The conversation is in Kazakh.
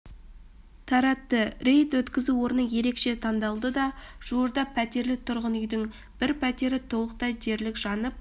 таратты рейд өткізу орны ерекше тандалды да жуырда пәтерлі тұрғын-үйдің бір пәтері толықтай дерлік жанып